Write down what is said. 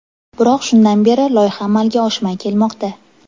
Biroq shundan beri loyiha amalga oshmay kelmoqda.